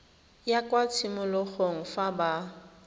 ya kwa tshimologong fa ba